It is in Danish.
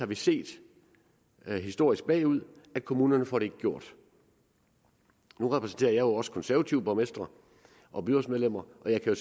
vi set historisk bagud at kommunerne ikke får det gjort nu repræsenterer jeg også konservative borgmestre og byrådsmedlemmer og jeg kan